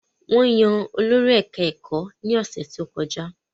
Wọ́n yan olórí ẹ̀ká ẹ̀kọ́ ní ọ̀sẹ̀ tó kọjá